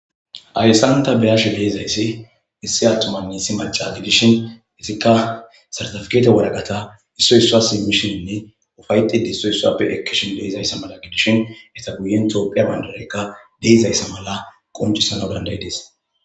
Hayessan ta beyashi de'izayssi cora issi attomanne issi maca gidishin isikka sartafkete wodaqata isso issa simmishinne ufayxi diso issappe ekkishin deezayssa mala gidishin eta guyen toophiya bandarekka deezayssa mala qoncisana dandayides